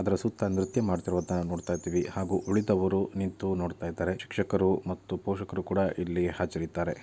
ಅದರ ಸುತ್ತ ನೃತ್ಯ ಮಾಡುತ್ತಿರುವುದನ್ನು ನಾವು ನೋಡ್ತಾ ಇದ್ದಿವಿ.ಹಾಗು ಉಳಿದವರು ನಿಂತು ನೋಡ್ತಾ ಇದಾರೆ ಶಿಕ್ಶಕರು ಮತ್ತು ಪೋಷಕರು ಕೂಡ ಇಲ್ಲಿ ಹಾಜರಿದ್ದಾರೆ .